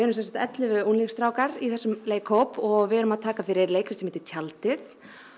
sem sagt ellefu unglingsstrákar í þessum leikhóp og við erum að taka fyrir leikrit sem heitir tjaldið